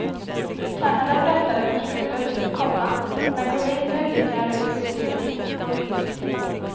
Kanada pressade på slutet, komma men kunde inte utnyttja en rysk utvisning. punkt